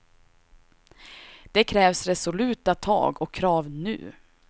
Det krävs resoluta tag och krav nu.